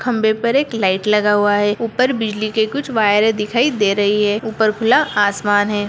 खंभे पर एक लाइट लगा हुआ है ऊपर बिजली के कुछ वायरें दिखाई दे रहीं हैं ऊपर खुला आसमान है।